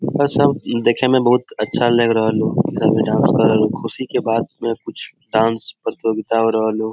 यह सब देखने में बहुत अच्छा लग रहा डांस बाद में कुछ डांस प्रतियोगिता हो रहा लोग --